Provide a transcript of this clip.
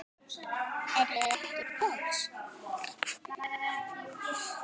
Er ég ekki frjáls?